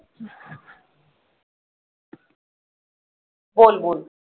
बोल बोल